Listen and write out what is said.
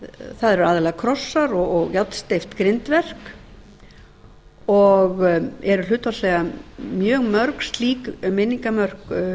það eru aðallega krossar og járnsteypt grindverk og eru hlutfallslega mjög mörg slík minningarmörk